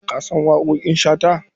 Ka san waƙoƙin Shata?